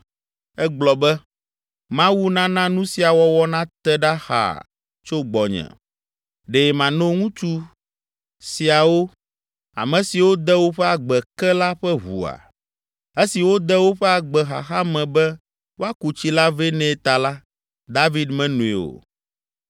Egblɔ be, “Mawu nana nu sia wɔwɔ nate ɖa xaa tso gbɔnye. Ɖe mano ŋutsu siawo, ame siwo de woƒe agbe ke la ƒe ʋua?” Esi wode woƒe agbe xaxa me be woaku tsi la vɛ nɛ ta la, David menoe o.